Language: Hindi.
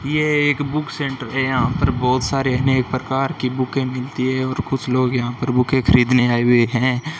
ये एक बुक सेंटर है यहां पर बहोत सारे अनेक प्रकार की बुके मिलती है और कुछ लोग यहां पर बुके खरीदने आए हुए हैं।